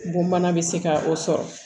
Bon bana bɛ se ka o sɔrɔ